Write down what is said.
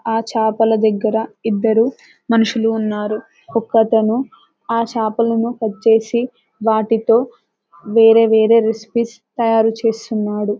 ఆ చాపల దగ్గర ఇద్దరు మనుషులు ఉన్నారు ఒకతను ఆ చాపలను కట్ చేసి వాటితో వేరే వేరే రెసిపీస్ తయారు చేస్తున్నాడు .